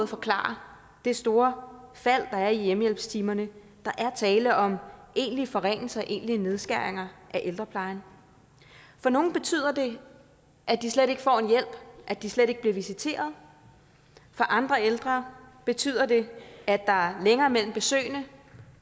forklare det store fald der er i hjemmehjælpstimerne der er tale om egentlige forringelser og egentlige nedskæringer af ældreplejen for nogle betyder det at de slet ikke får en hjælp at de slet ikke bliver visiteret for andre ældre betyder det at der er længere mellem besøgene